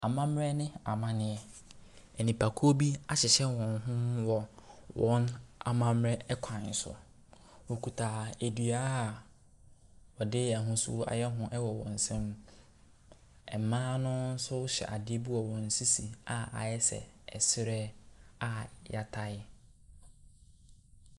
Amammerɛ ne amaneɛ. Enipakuo bi ahyehyɛ wɔn ho wɔ wɔn amamerɛ kwan so. Ɔkuta dua a ɔde ahosuo ayɛ ho wɔ wɔn nsam. Mmaa no nso hyɛ adeɛ wɔ wɔn sisi a ayɛ sɛ ɛsrɛ a y'atae.